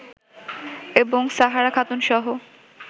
এবং সাহারা খাতুনসহ